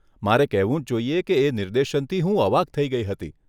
મારે કહેવું જ જોઈએ કે એ નિર્દેશનથી હું અવાક થઇ ગઇ હતી.